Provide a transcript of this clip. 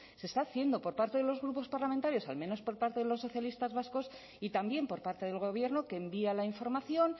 se está haciendo por parte de los grupos parlamentarios al menos por parte de los socialistas vascos y también por parte del gobierno que envía la información